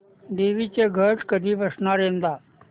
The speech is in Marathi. देवींचे घट कधी बसणार यंदा